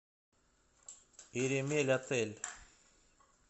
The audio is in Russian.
иремельотель